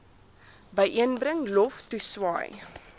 byeenbring lof toeswaai